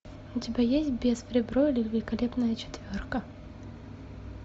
у тебя есть бес в ребро или великолепная четверка